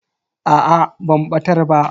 Aa ban batar ba.